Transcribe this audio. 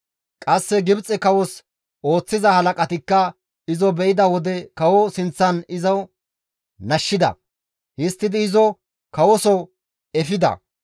Qasse Gibxe kawos ooththiza halaqatikka izo be7idi kawo sinththan izo nashshida; histtidi izo kawoso efida.